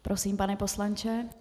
Prosím, pane poslanče.